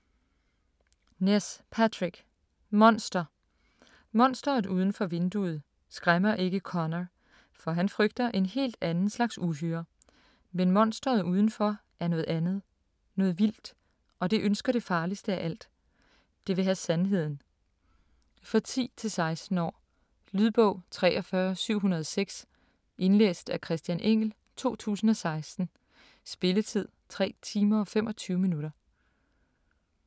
Ness, Patrick: Monster Monsteret udenfor vinduet skræmmer ikke Conor, for han frygter en helt anden slags uhyre. Men monsteret udenfor er noget andet, noget vildt. Og det ønsker det farligste af alt: Det vil have sandheden. For 10-16 år. Lydbog 43706 Indlæst af Christian Engell, 2016. Spilletid: 3 timer, 25 minutter.